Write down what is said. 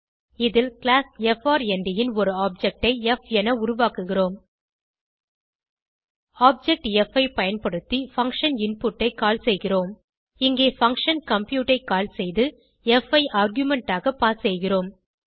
இதில் class FRND ன் ஒரு ஆப்ஜெக்ட் ப் என உருவாக்குகிறோம் பின் ஆப்ஜெக்ட் ப் ஐ பயன்படுத்தி பங்ஷன் இன்புட் ஐ கால் செய்கிறோம் இங்கே பங்ஷன் கம்ப்யூட் ஐ கால் செய்து ப் ஐ ஆர்குமென்ட் ஆக பாஸ் செய்கிறோம்